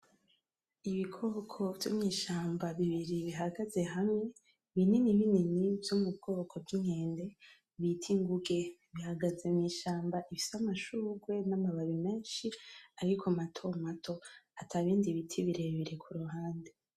Ibikoko vyo mw'ishamba bibiri bihagaze hamwe, binini binini vyo mu bwoko bw'inkende, bita inguge, bihagaze mw'ishamba rifise amashugwe n'amababi menshi ariko matomato, atabindi biti birebire ku ruhande.